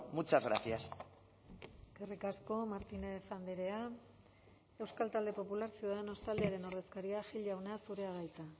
muchas gracias eskerrik asko martínez andrea euskal talde popular ciudadanos taldearen ordezkaria gil jauna zurea da hitza